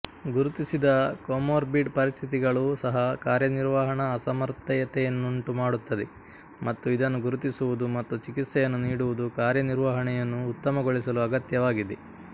ಗುರುತಿಸದ comorbid ಪರಿಸ್ಥಿತಿಗಳೂ ಸಹ ಕಾರ್ಯನಿರ್ವಹಣಾ ಅಸಮರ್ಥತೆಯನ್ನುಂಟುಮಾಡುತ್ತದೆ ಮತ್ತು ಇದನ್ನು ಗುರುತಿಸುವುದು ಮತ್ತು ಚಿಕಿತ್ಸೆಯನ್ನು ನೀಡುವುದು ಕಾರ್ಯನಿರ್ವಹಣೆಯನ್ನು ಉತ್ತಮಗೊಳಿಸಲು ಅಗತ್ಯವಾಗಿದೆ